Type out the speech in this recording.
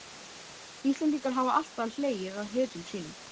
Íslendingar hafa alltaf hlegið að hetjum sínum.